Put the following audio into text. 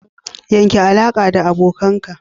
Yanke alaƙa da abokanka!